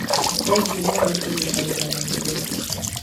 Thengio mũno nĩ kũnyitanĩra na ithuĩ.